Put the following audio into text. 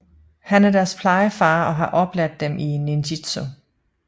Han er deres plejefar og har oplært dem i ninjitsu